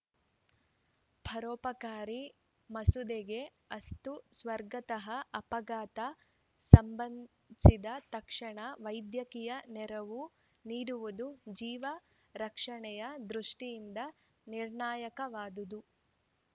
ಪರೋಪಕಾರಿ ಮಸೂದೆಗೆ ಅಸ್ತು ಸ್ವಾಗತಾರ್ಹ ಅಪಘಾತ ಸಂಭವಿಸಿದ ತಕ್ಷಣ ವೈದ್ಯಕೀಯ ನೆರವು ನೀಡುವುದು ಜೀವ ರಕ್ಷಣೆಯ ದೃಷ್ಟಿಯಿಂದ ನಿರ್ಣಾಯಕವಾದುದು